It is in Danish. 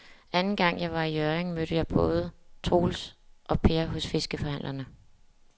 Anden gang jeg var i Hjørring, mødte jeg både Troels og Per hos fiskehandlerne.